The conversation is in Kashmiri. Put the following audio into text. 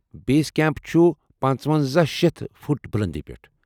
بیس کیمپ چھُ پنٛژوَنَزہ شیتھ فُٹ بُلندی پیٹھ